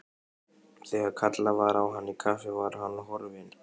Þegar kallað var á hann í kaffi var hann horfinn.